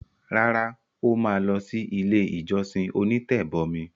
Rárá, ó ma lọ sí “ ilé-ìjọsìn onítẹ̀bọmi”.